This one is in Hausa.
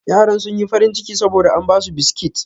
Yaran sun yi farin ciki saboda an ba su biskit.